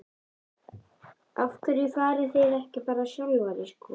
Af hverju fariði ekki bara sjálfar í skóla?